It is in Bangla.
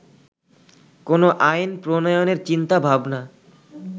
কোন আইন প্রণয়নের চিন্তা ভাবনা